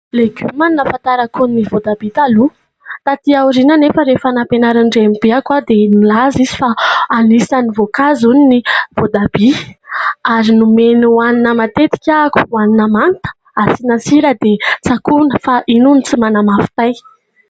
Legioma no nahafantarako ny voatabia taloha. Taty aoriana anefa rehefa nanmoianarin'ny renibeako aho dia milaza izy fa anisan'ny voankazo hono ny voatabia. Ary nomeny nohanina matetika aho, hoanina manta asiana sira dia tsakoana fa iny hono no tsy maha mafy tay.